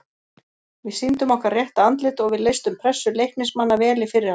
Við sýndum okkar rétta andlit og við leystum pressu Leiknismanna vel í fyrri hálfleik.